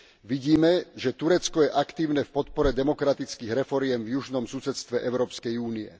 Vidíme, že Turecko je aktívne v podpore demokratických reforiem v južnom susedstve Európskej únie.